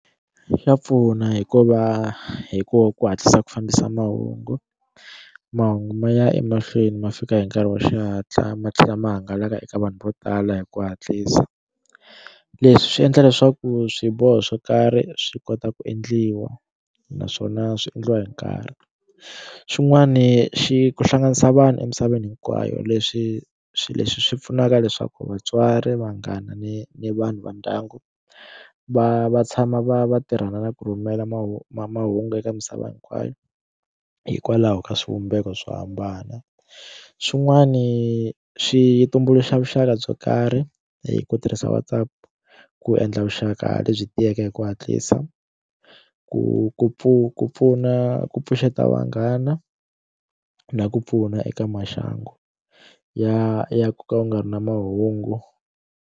Xa pfuna hi ku va hi ku hatlisa ku fambisa mahungu mahungu ma ya emahlweni ma fika hi nkarhi wa xihatla ma tlhela ma hangalaka eka vanhu vo tala hi ku hatlisa leswi swi endla leswaku swiboho swo karhi swi kota ku endliwa naswona swi endliwa hi nkarhi xin'wani xi ku hlanganisa vanhu emisaveni hinkwayo leswi swi leswi swi pfunaka leswaku vatswari vanghana ni ni vanhu va ndyangu va va tshama va va tirhana na ku rhumela mahungu mahungu eka misava hinkwayo hikwalaho ka swivumbeko swo hambana xin'wani swi tumbuluxa vuxaka byo karhi hi ku tirhisa Whatsapp ku endla vuxaka lebyi tiyeke hi ku hatlisa ku ku pfu ku pfuna ku pfuxeta vanghana na ku pfuna eka maxangu ya ya ku ka u nga ri na mahungu.